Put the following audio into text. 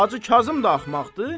Hacı Kazım da axmaqdı?